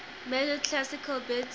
measured classical bits